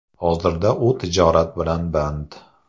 Hozirda u tijorat bilan band.